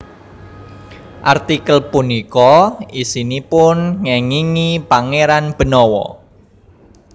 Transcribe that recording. Artikel punika isinipun ngéngingi Pangéran Benawa